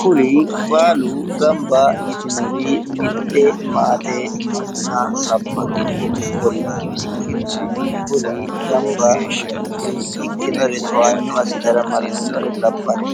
Kuri baalu gamba yitinori mitte maate manna labbanno ikkollana ikkinnina kuri gamba yitinori ikkinore towaanyo assitara martinore labbanno.